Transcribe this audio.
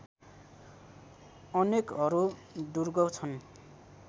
अनेकहरू दुर्ग छन्